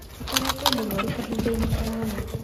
Akoretwo mũrũaru kahindainĩ karaya